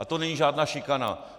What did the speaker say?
A to není žádná šikana.